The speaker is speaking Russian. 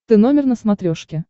ты номер на смотрешке